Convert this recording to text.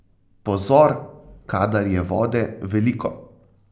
Pozor, kadar je vode veliko!